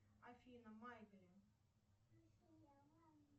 афина маэглин